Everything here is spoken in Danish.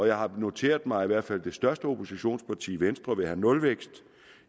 jeg har noteret mig at i hvert fald det største oppositionsparti venstre vil have nulvækst